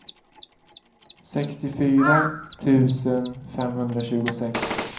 sextiofyra tusen femhundratjugosex